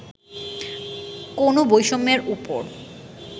কোনও বৈষম্যের ওপর